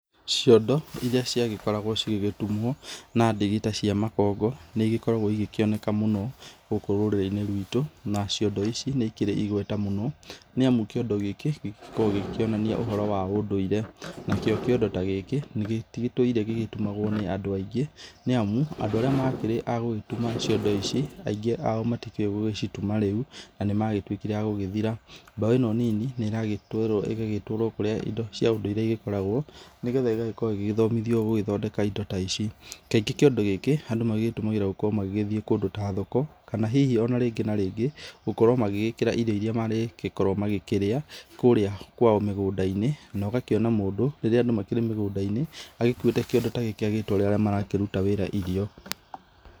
Ciondo iria ciagĩkoragwo cigĩgĩtumwo na ndigi ta cia makongo nĩigĩkoragwo ikĩoneka mũno gũkũ rũrĩrĩinĩ rwitũ na ciondo ici nĩikĩrĩ igweta mũno, nĩamu kĩondo gĩkĩ gĩkorwo gĩkĩonania ũhoro wa ũndũire ,nakĩo kĩondo nĩgĩtũire gĩtumĩtwe nĩ andũ aingĩ nĩamu andũ makĩrĩ agĩgĩgũtuma ciondo ici aingĩ mao matikĩũĩ gũgĩcituma rĩu na nĩmagĩtuĩkire magũthira ,mbeũ ĩno nini nĩragĩtwarwo kũrĩa indo ici cia ũndũĩre cigĩkoragwo nĩgetha igagĩkorwo igĩthomithwa gũgĩthondeka indo ta ici, kaingĩ kĩondo gĩkĩ magĩtumagĩra magĩgĩthi kũndũ ta thoko kana hihi rĩngĩ na rĩngĩ gũkorwo magĩkĩra irio irĩa marĩgĩkorwo makĩrĩa kũrĩa kwao mĩgũndainĩ nogakĩona mũndũ rĩrĩa makĩrĩ mĩgũndainĩ agĩkuĩte kĩondo ta gĩkĩagĩtwarĩra arĩa marakĩruta wĩra irio.